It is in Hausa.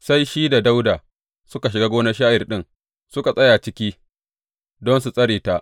Sai shi da Dawuda suka shiga gonar sha’ir ɗin, suka tsaya ciki don su tsare ta.